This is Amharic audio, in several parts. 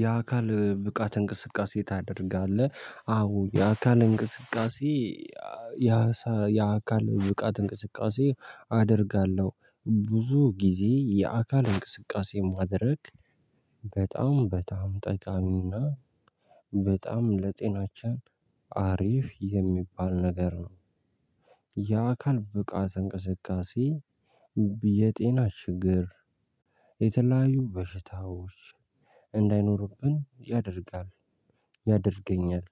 የአካል ብቃት እንቅስቃሴ ታደርጋለህ? አዎ የአካል እንቅስቃሴ ያሳ የአካል ብቃት እንቅስቃሴ አደርጋለሁ ብዙ ጊዜ የአካል እንቅስቃሴ ማድረግ በጣም በጣም ጠቃሚውና በጣም ለጤናችን አሪፍ የሚባል ነገር ነው። የአካል ብቃት እንቅስቃሴ ቢ የጤና ችግር የተለያዩ በሽታዎች እንዳይኖርብን ያደርጋል። ያደርገኛል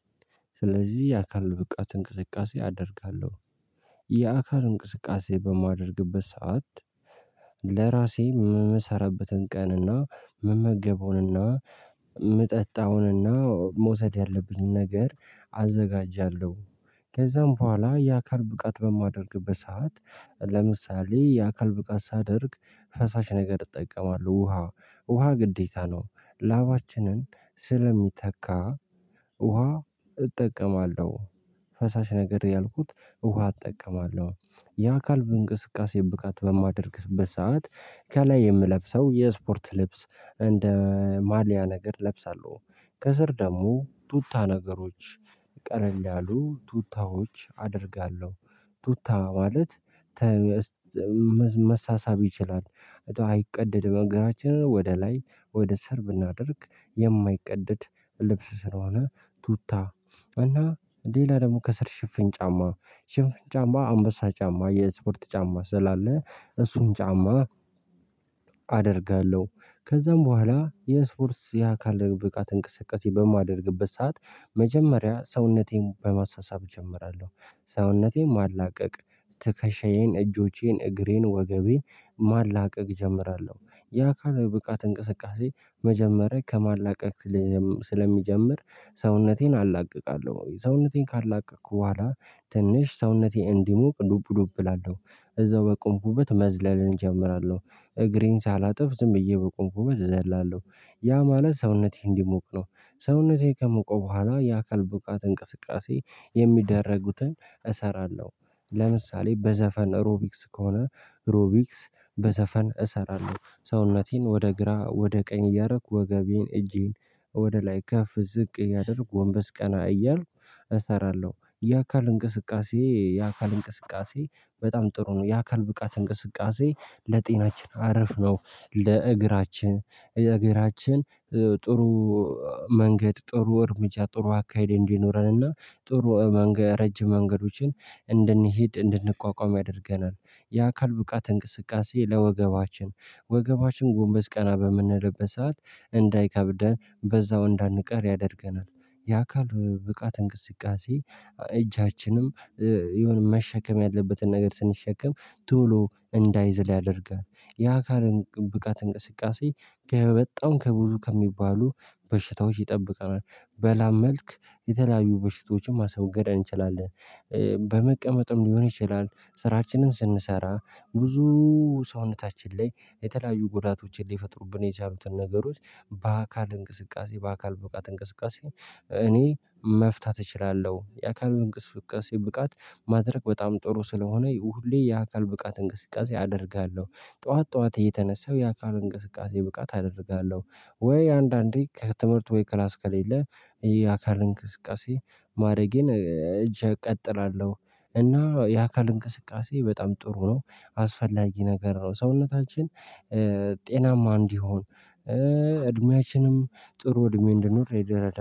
ስለዚህ የአካል ብቃት እንቅስቃሴ አደርጋለሁ። የአካል እንቅስቃሴ በማደርግበት ሰዓት ለራሴ የምሰራበትን ቀንና የምመገበውንና የምጠጣውንና መውሰድ ያለብኝ ነገር አዘጋጃለሁ። ከዛም በኋላ የአካል ብቃት በማደርግበት ሰዓት ለምሳሌ የአካል ብቃት ሳደርግ ፈሳሽ ነገር እጠቀማለሁ ውሃ ውሃ ግዴታ ነው ላባችንን ስለሚተካ ውሃ እጠቀማለሁ። ፈሳሽ ነገር ያልኩት ውሃ እጠቀማለሁ የአካል እንቅስቃሴ ብቃት በማደርግበት ሰዓት ከላይ የምለብሰው የስፖርት ልብስ እንደ ማልያ ነገር እለብሳለሁ። ከስር ደግሞ ቱታ ነገሮች ቀለል ያሉ ቱታዎች አደርጋለሁ። ቱታ ማለት መሳሳብ ይችላል። አይቀደድም እግራችንን ወደ ላይ ወደ ስር ብናደርግ የማይቀደድ ልብስ ስለሆነ ቱታ እና ሌላ ደግሞ ከስር ሽፍን ጫማ ሽፍን ጫማ አንበሳ ጫማ የስፖርት ጫማ ስላለ እሱን ጫማ አደርጋለሁ። ከዛም በኋላ የስፖርት የአካል ብቃት እንቅስቃሴ በማደርግበት ሰዓት መጀመሪያ ሰውነቴን በማሳሰብ እጀምራለሁ። ሰውነቴን ማላቀቅ ትከሻዬን እጆቼን እግሬን ወገቤን ማላቀቅ እጀምራለሁ። የአካል ብቃት እንቅስቃሴ መጀመሪያ ከማላቀቅ ልጀም ስለሚጀምር ሰውነቴን አላቅቃለሁ ሰውነቴን ካላቀቅኩ በኋላ ትንሽ ሰውነቴን እንዲሞቅ ዱብ ዱብ እላለሁ እዛው በቆምኩበት መዝለልን እጀምራለሁ እግሬን ሳላጥፍ ዝም ብዬ በቆምኩበት እዘላለሁ። ያ ማለት ሰውነቴ እንዲሞቅ ነው። ሰውነቴ ከሞቀ በኋላ የአካል ብቃት እንቅስቃሴ የሚደረጉትን እሰራለሁ። ለምሳሌ በዘፈን ሮቢክስ ከሆነ ሮቢክስ በዘፈን እሰራለሁ ሰውነቴን ወደ ግራ ወደ ቀኝ እያረኩ ወገቤን እጄን ወደ ላይ ከፍ ዝቅ እያደረግኩ ጎንበስ ቀና እያልኩ እሰራለሁ። የአካል እንቅስቃሴ የአካል እንቅስቃሴ በጣም ጥሩ ነው የአካል ብቃት እንቅስቃሴ ለጤናችን አረፍ ነው። ለእግራችን እግራችን ጥሩ መንገድ ጥሩ እርምጃ ጥሩ አካሄድ እንዲኖረንና ጥሩ መንገ ረጅም መንገዶችን እንድንሄድ እንድንቋቋም ያደርገናል። የአካል ብቃት እንቅስቃሴ ለወገባችን ወገባችን ጎንበስ ቀና በምንልበት ሰዓት እንዳይከብደን በዛው እንዳንቀር ያደርገናል። የአካል ብቃት እንቅስቃሴ እጃችንም የሆነ መሸከም ያለበትን ነገር ስንሸከም ቶሎ እንዳይዝል ያደርጋል። የአካልን ብቃት እንቅስቃሴ ከበጣም ከብዙ ከሚባሉ በሽታዎች ይጠብቃል። በላብ መልክ የተለያዩ በሽቶዎችን ማስወገድ እንችላለን። በመቀመጥም ሊሆን ይችላል ስራችንን ስንሰራ ብዙ ሰውነታችን ላይ የተለያዩ ጉዳቶችን ሊፈጥሩብን የቻሉትን ነገሮች በአካል እንቅስቃሴ በአካል ብቃት እንቅስቃሴ እኔ መፍታት እችላለሁ። የአካል እንቅስቃሴ ብቃት ማድረግ በጣም ጥሩ ስለሆነ ሁሌ የአካል ብቃት እንቅስቃሴ አደርጋለሁ። ጠዋት ጠዋት እየተነሳው የአካል እንቅስቃሴ ብቃት አደርጋለሁ። ወይ አንዳንዴ ከትምህርት ወይ ክላስ ከሌለ የአካል እንቅስቃሴ ማድረጌን እጅ እቀጥላለሁ። እና የአካል እንቅስቃሴ በጣም ጥሩ ነው አስፈላጊ ነገር ነው። ሰውነታችን ጤናማ እንዲሆን እድሜያችንም ጥሩ እድሜ እንደኖር ይደረዳል